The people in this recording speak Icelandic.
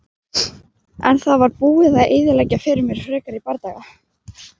En það var búið að eyðileggja fyrir mér frekari bardaga.